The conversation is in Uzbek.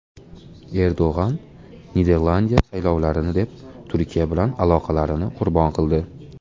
Erdo‘g‘on: Niderlandiya saylovlarni deb Turkiya bilan aloqalarini qurbon qildi.